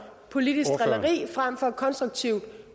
politisk drilleri frem for konstruktiv